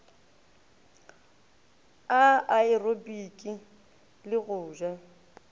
a aerobiki le go ja